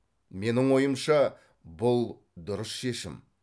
менің ойымша бұл дұрыс шешім